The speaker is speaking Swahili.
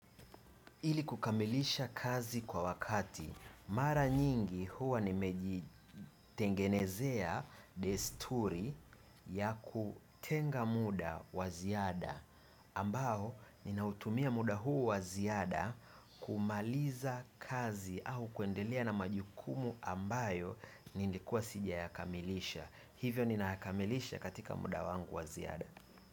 Ili kukamilisha kazi kwa wakati, mara nyingi huwa nimejitengenezea desturi ya kutenga muda waziada, ambao ninautumia muda huu waziada kumaliza kazi au kuendelea na majukumu ambayo nilikuwa sija ya kamilisha. Hivyo nina yakamilisha katika muda wangu waziada.